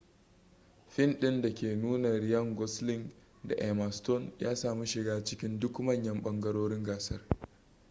fin ɗin da ke nuna ryan gosling da emma stone ya sami shiga cikin duk manyan ɓangarorin gasar